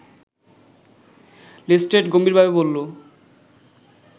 Lestrade গম্ভীরভাবে বলল